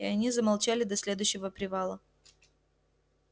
и они замолчали до следующего привала